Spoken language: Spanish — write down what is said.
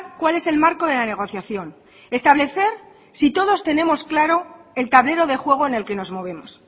cuál es el marco de la negociación establecer si todos tenemos claro el tablero de juego en el que nos movemos